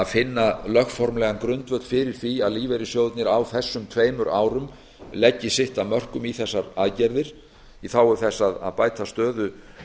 finna lögformlegan grundvöll fyrir því að lífeyrissjóðirnir á þessum tveimur árum leggi sitt af mörkum í þessar aðgerðir í þágu þess að bæta stöðu